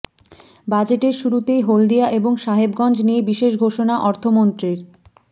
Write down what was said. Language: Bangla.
বাজেটের শুরুতেই হলদিয়া এবং সাহেবগঞ্জ নিয়ে বিশেষ ঘোষণা অর্থমন্ত্রীর